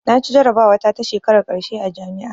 Naci jarabawa ta ta shekarar ƙarshe a jami'a